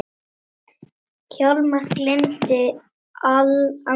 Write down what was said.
Hjálmar geymir andlegt fé.